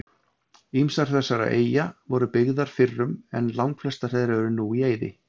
Ýmsar þessara eyja voru byggðar fyrrum en langflestar þeirra eru nú í eyði.